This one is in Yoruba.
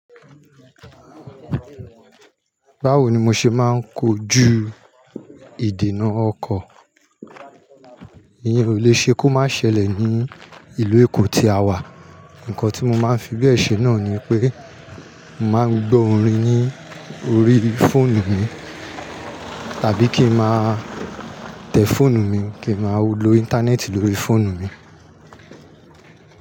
Báwo ni mo ṣe máa ń kojú ìdènà ọkọ̀? Ìyẹn ò le ṣe kó má ṣẹlẹ̀ ní ìlú Èkó tí a wà. Ǹkan tí mo máa ń fi bẹ̀ ṣe náà ni pé, màá ń gbọ́ orin ní orí fóònù mi, tàbí kí máa tẹ fóònù mi, kí ma lo íńtánẹ́ẹ̀tì lórí fóònù mi.